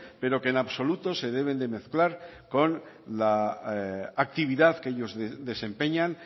pero que en absoluto se deben de mezclar con la actividad que ellos desempeñan